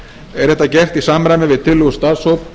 er þetta gert í samræmi við tillögu starfshóps